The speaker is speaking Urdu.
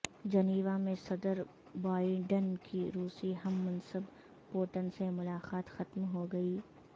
جنیوا میں صدر بائیڈن کی روسی ہم منصب پوٹن سے ملاقات ختم ہو گئی